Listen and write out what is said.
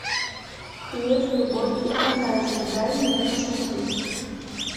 хлеб любовь и фантазия дай мне посмотреть